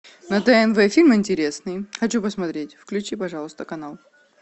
на тнв фильм интересный хочу посмотреть включи пожалуйста канал